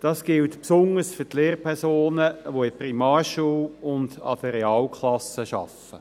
Dies gilt besonders für diejenigen Lehrpersonen, die an der Primarschule sowie mit Realklassen arbeiten.